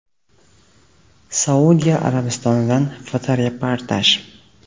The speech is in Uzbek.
Saudiya Arabistonidan fotoreportaj.